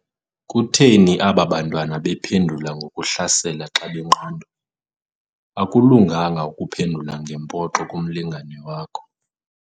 Kutheni aba bantwana bephendula ngokuhlasela xca benqandwa? akulunganga ukuphendula ngempoxo kumlingane wakho